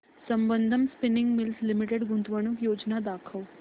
Sambandam spinning mills limited गुंतवणूक योजना दाखव